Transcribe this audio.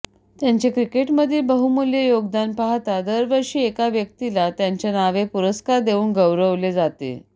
त्यांचे क्रिकेटमधील बहुमुल्य योगदान पाहता दरवर्षी एका व्यक्तीला त्यांच्या नावे पुरस्कार देऊन गौरवले जाते